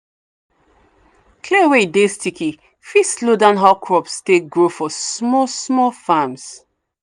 clay wey e dey sticky fit slow down how crops take grow for small small farms.